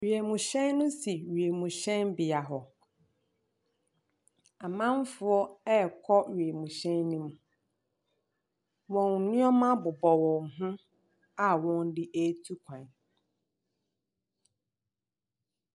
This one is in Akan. Wiemhyɛn no si wiemhyɛn bea hɔ. Amanfoɔ ɛkɔ wiemhyɛn ne mu. Wɔn nneɛma bobɔ wɔn ho a wɔn de atu kwan.